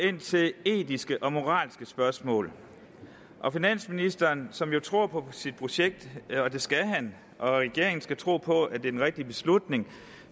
ind til etiske og moralske spørgsmål finansministeren som jo tror på sit projekt og det skal han og regeringen skal tro på at det er den rigtige beslutning